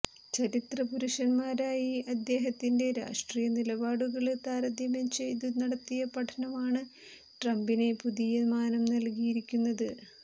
ചരിത്ര പുരുഷന്മാരുമായി അദ്ദേഹത്തിന്റെ രാഷ്ട്രീയ നിലപാടുകള് താരത്യം ചെയ്തു നടത്തിയ പഠനമാണ് ട്രംപിനെ പുതിയ മാനം നല്കിയിരിക്കുന്നത്